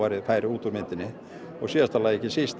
færi út úr myndinni og síðast en ekki síst